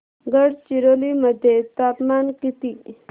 गडचिरोली मध्ये तापमान किती